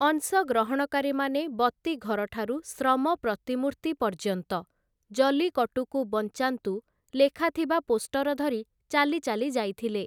ଅଂଶଗ୍ରହଣକାରୀମାନେ ବତୀଘରଠାରୁ ଶ୍ରମ ପ୍ରତିମୂର୍ତ୍ତି ପର୍ଯ୍ୟନ୍ତ 'ଜଲ୍ଲିକଟ୍ଟୁକୁ ବଞ୍ଚାନ୍ତୁ' ଲେଖାଥିବା ପୋଷ୍ଟର ଧରି ଚାଲିଚାଲି ଯାଇଥିଲେ ।